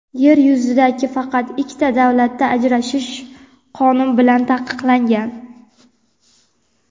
Yer yuzidagi faqat ikkita davlatda ajrashish qonun bilan taqiqlangan.